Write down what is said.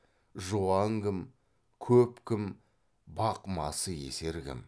жуан кім көп кім бақ масы есер кім